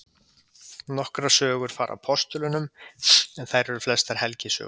Nokkrar sögur fara af postulunum en þær eru flestar helgisögur.